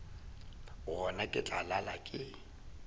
gona ke tla lala ke